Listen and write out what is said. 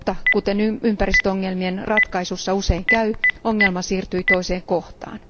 Kuten ympäristöongelmien ratkaisussa usein käy, ongelma kuitenkin siirtyi toiseen kohtaan.